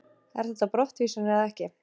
Er þetta brottvísun eða ekki?